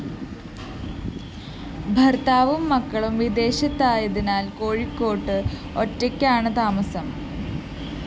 ഭര്‍ത്താവും മക്കളും വിദേശത്തായതിനാല്‍ കോഴിക്കോട്ട്‌ ഒറ്റയ്ക്കാണ്‌ താമസം